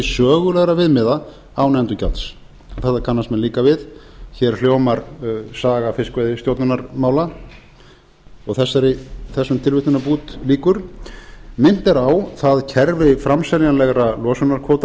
sögulegra viðmiða án endurgjalds þetta kannast menn líka við hér hljómar saga fiskveiðistjórnarmála og þessum tilvitnanabút lýkur minnt er á það kerfi framseljanlegra losunarkvóta